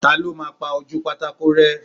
Ta ló máa pa ojúu pátákó rẹ́?